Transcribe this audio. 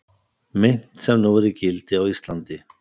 Mynt sem nú er í gildi á Íslandi.